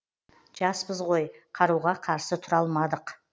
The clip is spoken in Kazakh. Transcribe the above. жас жаспыз ғой қаруға қарсы тұра алмадық